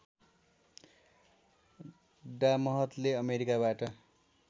डा महतले अमेरिकाबाट